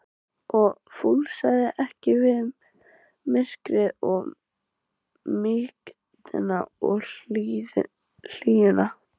og fúlsaði ekki við myrkrinu og mýktinni og hlýjunni.